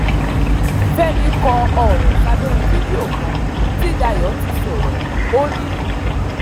fẹ̀mí kọ ọ̀rọ̀ sábẹ́ fídíò kan tí dayo ti sọ̀rọ̀ o ní